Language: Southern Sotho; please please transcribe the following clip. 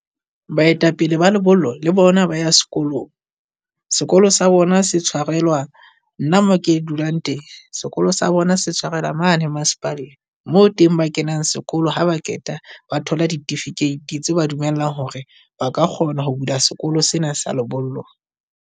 Baetapele ba lebollo le bona ba ya sekolong. Sekolo sa bona se tshwarelwa. Nna mo ke dulang teng. Sekolo sa bona se tshwarela mane masepaleng, moo teng ba kenang sekolo ha ba qeta ba thola tse ba dumelang hore ba ka kgona ho bula sekolo sena sa lebollo.